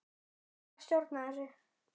Ég verð að stjórna þessu.